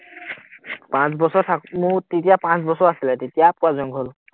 পাঁচ বছৰ থাকো, তেতিয়া পাঁচ বছৰ আছিলে, তেতিয়া পুৰা জংঘল